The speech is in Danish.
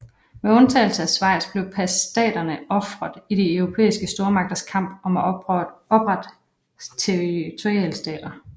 Med undtagelse af Schweiz blev passtaterne ofret i de europæiske stormagters kamp om at oprette territorialstater